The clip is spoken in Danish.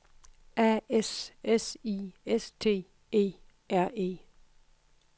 A S S I S T E R E